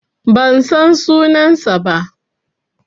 Ban san sunansa ba.